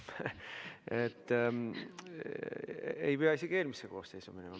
Ei pea isegi eelmisse koosseisu minema.